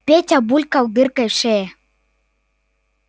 петя булькал дыркой в шее